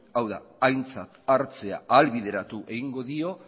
hau da aintzat hartzea ahalbideratu egingo dio